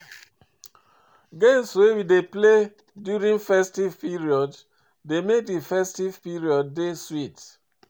Games wey we dey play during festive period dey make di festive periods dey sweet